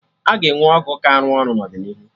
Aga enwe ọgwụ ka arụ ọrụ n'ọdịnihu